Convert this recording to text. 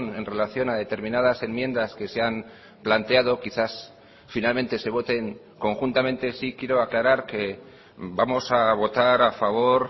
en relación a determinadas enmiendas que se han planteado quizás finalmente se voten conjuntamente sí quiero aclarar que vamos a votar a favor